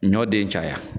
Ɲɔ den caya